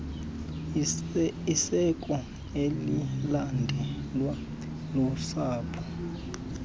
isiko elilandelwa lusapho